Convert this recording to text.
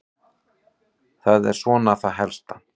Það er svona það helsta.